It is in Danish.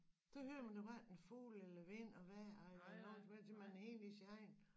Så hører man jo hverken fulge eller vind og vejr eller noget som helst for man er inde i sin egen